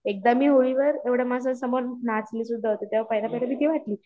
एकदा मी होळीवर एवढ्या माणसांसमोर नाचली सुद्धा होती तेव्हा पहिल्या पहिले भीती वाटली पण